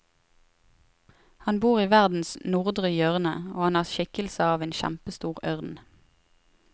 Han bor i verdens nordre hjørne, og han har skikkelse av en kjempestor ørn.